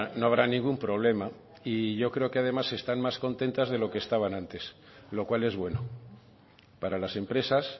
no habrá ningún problema y yo creo que además están más contentas de lo que estaban antes lo cual es bueno para las empresas